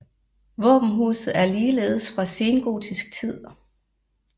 Våbenhuset er ligeledes fra sengotisk tid